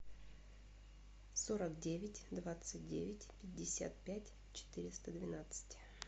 сорок девять двадцать девять пятьдесят пять четыреста двенадцать